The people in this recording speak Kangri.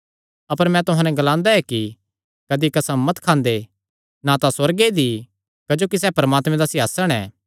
अपर मैं तुहां नैं एह़ ग्लांदा ऐ कि कदी कसम मत खांदे ना तां सुअर्गे दी क्जोकि सैह़ परमात्मे दा सिंहासण ऐ